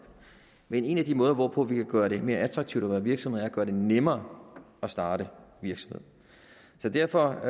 men en af de måder hvorpå vi kan gøre det mere attraktivt at være virksomhed er at gøre det nemmere at starte virksomhed så derfor